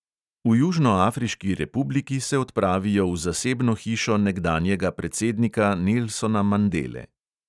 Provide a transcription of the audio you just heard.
V južnoafriški republiki se odpravijo v zasebno hišo nekdanjega predsednika nelsona mandele.